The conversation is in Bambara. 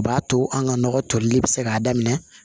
O b'a to an ka nɔgɔ tolili bɛ se k'a daminɛ